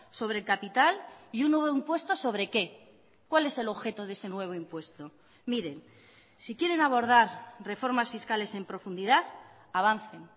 sobre capital y un nuevo impuesto sobre qué cuál es el objeto de ese nuevo impuesto miren si quieren abordar reformas fiscales en profundidad avancen